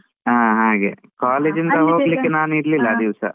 ಹಾ ಹಾಗೆ, ನಾನ್ ಇರ್ಲಿಲ್ಲ ಆ ದಿವ್ಸ.